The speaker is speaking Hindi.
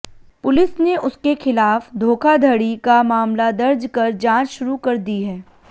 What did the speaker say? पुलिस ने उसके खिलाफ धोखाधड़ी का मामला दर्ज कर जांच शुरू कर दी है